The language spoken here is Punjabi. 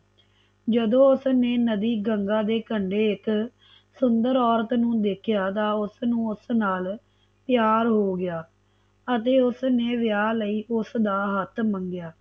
ਜਦੋਂ ਉਸਨੇ ਨਦੀ ਗੰਗਾ ਦੇ ਕੰਢੇ ਇਕ ਸੁੰਦਰ ਔਰਤ ਨੂੰ ਦੇਖਿਆ ਤਨ ਉਸਨੂੰ ਉਸ ਨਾਲ ਪਿਆਰ ਹੋ ਗਿਆ ਅਤੇ ਉਸਨੇ ਵਿਆਹ ਲਈ ਉਸਦਾ ਹੱਥ ਮੰਗਿਆ